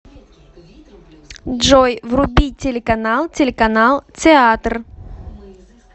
джой вруби телеканал телеканал театр